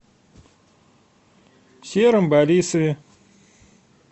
сером борисове